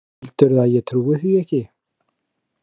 Heldurðu að ég trúi því ekki?